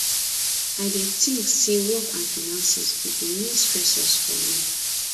i dey think say work and finances be di main stressors for me